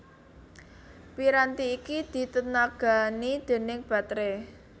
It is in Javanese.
Piranti iki ditenagani déning bateré